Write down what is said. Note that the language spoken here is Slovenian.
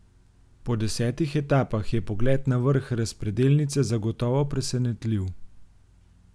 Po desetih etapah je pogled na vrh razpredelnice zagotovo presenetljiv.